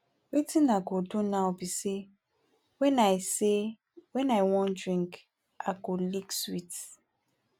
wetin i go do now be say when i say when i wan drink i go lick sweet